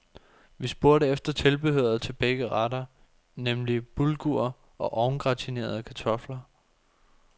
Vi spurgte efter tilbehøret til begge retter, nemlig bulgur og ovngratinerede kartofler.